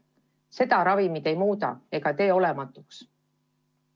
Seda ravimid ei muuda ega tee olematuks.